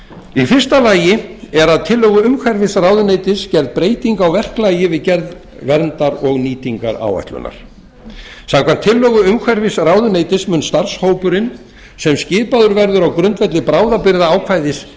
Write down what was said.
í fyrsta lagi er að tillögu umhverfisráðuneytis gerð breyting á verklagi við gerð verndar og nýtingaráætlunar samkvæmt tillögu umhverfisráðuneytis mun starfshópurinn sem skipaður verður á grundvelli bráðabirgðaákvæðis